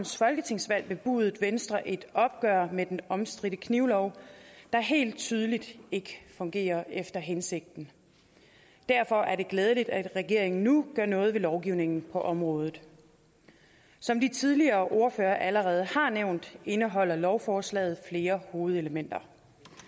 folketingsvalg bebudede venstre et opgør med den omstridte knivlov der helt tydeligt ikke fungerer efter hensigten derfor er det glædeligt at regeringen nu gør noget ved lovgivningen på området som de tidligere ordførere allerede har nævnt indeholder lovforslaget flere hovedelementer